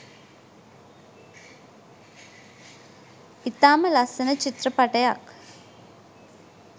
ඉතාම ලස්සන චිත්‍රපටයක්.